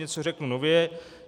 Něco řeknu nově.